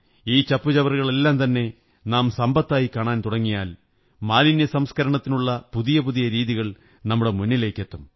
ഈ ചപ്പുചവറുകളെത്തന്നെ നാം സമ്പത്തായി കാണാൻ തുടങ്ങിയാൽ മാലിന്യസംസ്കരണത്തിനുള്ള പുതിയ പുതിയ രീതികൾ നമ്മുടെ മുന്നിലേക്കെത്തും